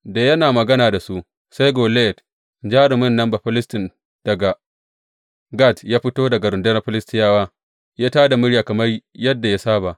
Da yana magana da su sai Goliyat, jarumin nan Bafilistin daga Gat ya fito daga rundunar Filistiyawa, ya tā da murya kamar yadda ya saba.